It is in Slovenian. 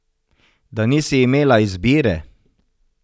Da nisi imela izbire?